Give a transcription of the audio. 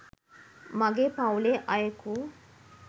මගේ පවුලේ අයෙකු